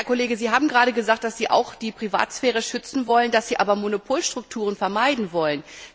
Herr Kollege, Sie haben gerade gesagt, dass Sie auch die Privatsphäre schützen wollen, dass Sie aber Monopolstrukturen vermeiden wollen.